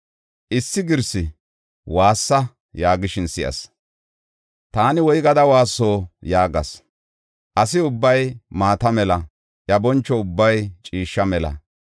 Issi girsi, “Waassa” yaagishin si7as; taani, “Woygada waasso?” yaagas. “Asi ubbay maata mela; iya boncho ubbay ciishsha mela.